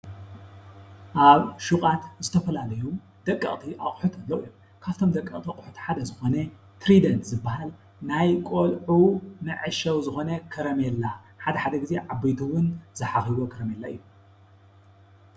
ኣብ ሽቓት ዝተፈላለዩ ደቀቕቲ ኣቑሑት ኣለው። ካፍቶም ደቀቅቲ ኣቁሑት ሓደ ዝኮነ ትሪደንት ዝባሃል ናይ ቆልዑ መዕሸዊ ዝኮነ ከረሜላ ሓደሓደ ግዜ ዓበይቲ እውን ዝሓኽይዎ ከረሜላ እዩ።